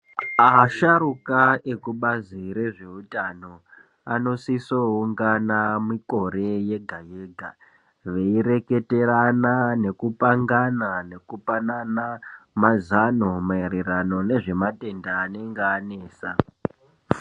Asharuka ekubazi rezveutano anosiso kuungana mikore yega yega veireketerana nekupangana nekupanana mazano maererano nezvematenda anenge anesa.